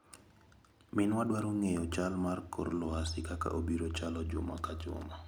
Min wa dwaro ng'eyo chal mar kor lwasi kaka obiro chalo juma ka ajuma